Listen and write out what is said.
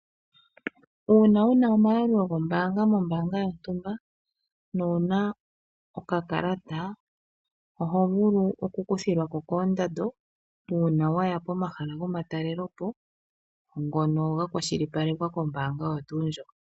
Uuna una omayalulo gombaanga mombaanga yontumba no wuna okakalata ohovulu oku kuthilwako koondando uuna waya komahala go matalelepo ngono ga kwashilipalekwa kombaanga oyo tuu ndjoka